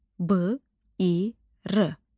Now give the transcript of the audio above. B, i, r.